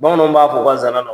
Bamananw b'a fɔ u ka zana na.